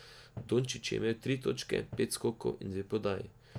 Dončić je imel tri točke, pet skokov in dve podaji.